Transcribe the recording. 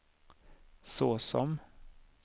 såsom